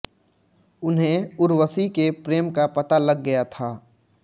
उन्हें उर्वशी के प्रेम का पता लग गया था